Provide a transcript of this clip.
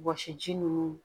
Wɔsi ji nunnu